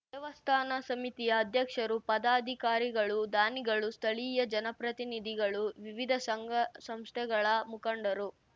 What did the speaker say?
ದೇವಸ್ಥಾನ ಸಮಿತಿಯ ಅಧ್ಯಕ್ಷರು ಪದಾಧಿಕಾರಿಗಳು ದಾನಿಗಳು ಸ್ಥಳೀಯ ಜನಪ್ರತಿನಿಧಿಗಳು ವಿವಿಧ ಸಂಘಸಂಸ್ಥೆಗಳ ಮುಖಂಡರು